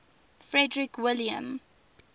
frederick william